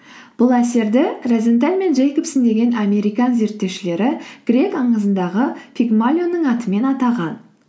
бұл әсерді розенталь мен джейкобсен деген американ зерттеушілері грек аңызындағы пигмалионның атымен атаған